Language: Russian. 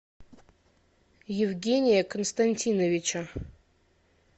евгения константиновича